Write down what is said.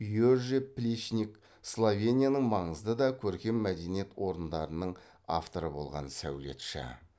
йоже плечник словенияның маңызды да көркем мәдениет орындарының авторы болған сәулетші